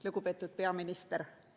Lugupeetud peaminister!